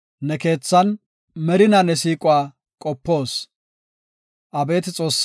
Abeeti Xoossaw, ne keethan merinaa ne siiquwa qopoos.